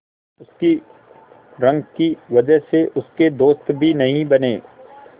उसकी रंग की वजह से उसके दोस्त भी नहीं बने